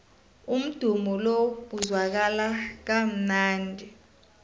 umdumo lo uzwakala kamnandi